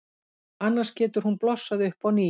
Annars getur hún blossað upp á ný.